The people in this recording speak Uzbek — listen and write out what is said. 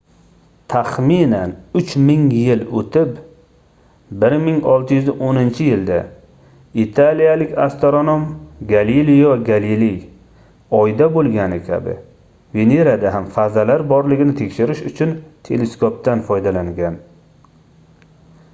taxminan uch ming yil oʻtib 1610-yilda italiyalik astronom galelio galiley oyda boʻlgani kabi venerada ham fazalar borligini tekshirish uchun teleskopdan foydalangan